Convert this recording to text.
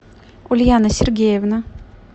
ульяна сергеевна